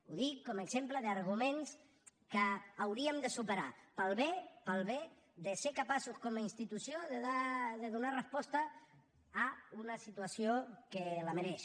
ho dic com a exemple d’arguments que hauríem de superar pel bé pel bé de ser capaços com a institució de donar resposta a una situació que la mereix